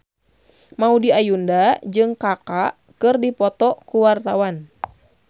Maudy Ayunda jeung Kaka keur dipoto ku wartawan